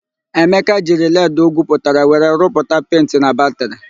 Emeka jiri leedị o gwuputara were rụpụta penti na batịrị.